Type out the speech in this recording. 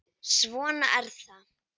Svona er það.